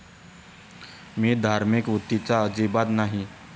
मी धार्मिक वृत्तीचा अजिबात नाही.